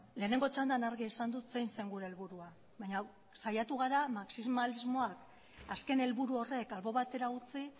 lehenengo txandan argi esan dut zein zen gure helburua baina saiatu gara marxismalismoa azken helburu horrek albo batera utzi